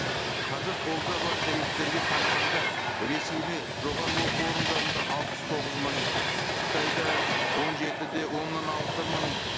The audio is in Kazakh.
қазір қолда бар деректерге қарағанда ресейде жоғары оқу орындарында алпыс тоғыз мың қытайда он жеті де оннан алты мың